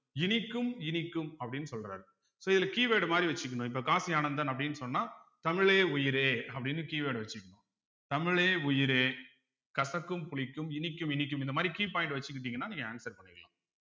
இனிக்கும் இனிக்கும் அப்படின்னு சொல்றாரு so இதுல keyword மாதிரி வச்சுக்கணும் இப்ப காசி ஆனந்தன் அப்படீன்னு சொன்னா தமிழே உயிரே அப்படீன்னு keyword வச்சுக்கணும் தமிழே உயிரே கசக்கும் புளிக்கும் இனிக்கும் இனிக்கும் இந்த மாதிரி key point வச்சுக்கிட்டீங்கன்னா நீங்க answer பண்ணிக்கலாம்